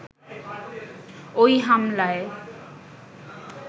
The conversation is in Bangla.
ওই হামলায়